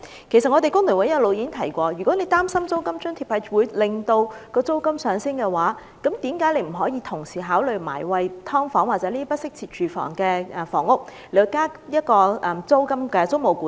工聯會一直有提出建議，假如政府擔心提供租金津貼會令租金上升，何不同時也考慮就"劏房"或用作不適切居所的處所制訂租務管制？